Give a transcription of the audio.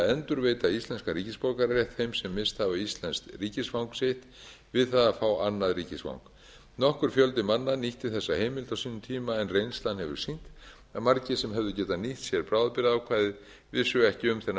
að endurveita íslenskan ríkisborgararétt þeim sem misst hafa íslenskt ríkisfang sitt við það að fá annað ríkisfang nokkur fjöldi manna nýtti þessa heimild á sínum tíma en reynslan hefur sýnt að margir sem hefðu getað nýtt sér bráðabirgðaákvæðið vissu ekki um þennan